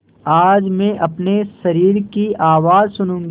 आज मैं अपने शरीर की आवाज़ सुनूँगी